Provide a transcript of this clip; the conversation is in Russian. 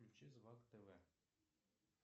включи звак тв